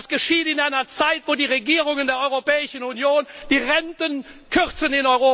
Das geschieht in einer Zeit, wo die Regierungen der Europäischen Union in Europa die Renten kürzen!